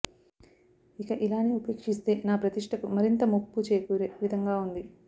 ఇక ఇలానే ఉపేక్షిస్తే నా ప్రతిష్టకు మరింత ముప్పు చేకూరే విధంగా ఉంది